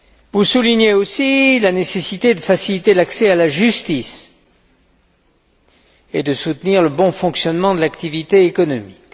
Vous soulignez aussi la nécessité de faciliter l'accès à la justice et de soutenir le bon fonctionnement de l'activité économique.